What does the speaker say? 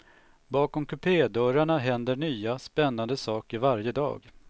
Bakom kupédörrarna händer nya, spännande saker varje dag.